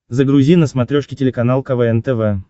загрузи на смотрешке телеканал квн тв